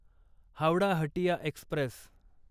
Howrah Hatia Express